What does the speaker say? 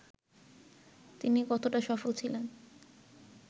তিনি কতটা সফল ছিলেন